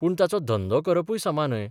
पूण ताचो धंदो करपूय समा न्हय.